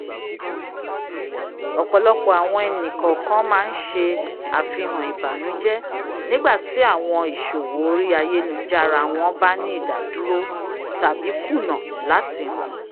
"ọpọlọpọ awọn ẹni-kọọkan ma nṣẹ́ afihan ìbànújẹ nigbati awọn ìṣòwò orí ayélujára wọn bá ní ìdádúró tabi kùnà lati hàn"